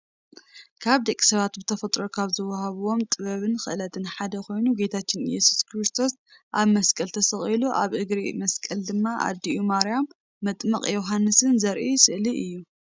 ካብ ደቂ ሰባት ብተፈጥሮ ካብዝወሃብዎ ጥበብን ክእለትን ሓደ ኮይኑ ጌታችን እዮሱስ ኩርስቶስ ኣብ መስቀል ተሰኪሉ ኣብ እግሪ እቲ መስቀል ድማ ኣድኡ ማርያም መጥመቅ ዮሃንስን ዘርኢ ስእዩ እዩ።